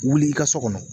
Wuli i ka so kɔnɔ